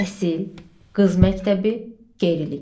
Təhsil, qız məktəbi, qeyrilik.